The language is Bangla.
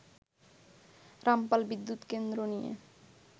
রামপাল বিদ্যুৎ কেন্দ্র নিয়ে